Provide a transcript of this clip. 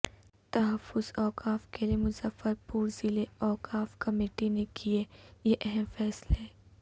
تحفظ اوقاف کیلئے مظفرپورضلع اوقاف کمیٹی نے کئے یہ اہم فیصلے